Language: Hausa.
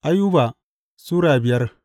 Ayuba Sura biyar